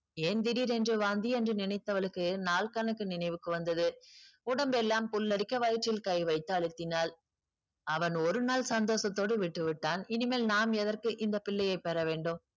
ஏன் திடீரென்று வாந்தி என்று நினைத்தவளுக்கு நாள் கணக்கு நினைவுக்கு வந்தது உடம்பெல்லாம் புல்லரிக்க வயிற்றில் கை வைத்து அழுத்தினாள் அவன் ஒரு நாள் சந்தோஷத்தோடு விட்டுவிட்டான் இனிமேல் நாம் எதற்கு இந்த பிள்ளையை பெற வேண்டும்